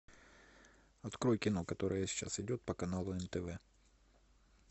открой кино которое сейчас идет по каналу нтв